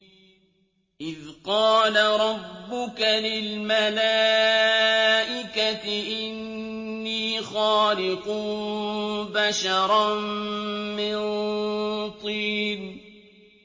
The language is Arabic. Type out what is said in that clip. إِذْ قَالَ رَبُّكَ لِلْمَلَائِكَةِ إِنِّي خَالِقٌ بَشَرًا مِّن طِينٍ